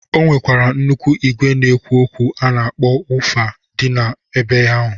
O nwekwara nnụkwụ igwe na-ekwu okwu a na-akpọ wofa dị ebe ahụ.